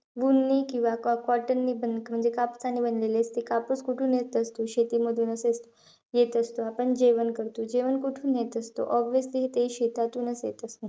Wool नी किंवा cotton नी म्हणजे कापसाने बनलेले असते. कापूस कुठून येत असतो? शेतीमधूनचं येत असतो. आपण जेवण करतो, जेवण कुठून येत असतो? obviously ते शेतातूनचं येत.